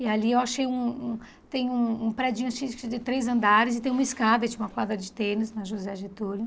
E ali eu achei um um, tem um um predinho acho que de que de três andares e tem uma escada, tinha uma quadra de tênis na José Getúlio.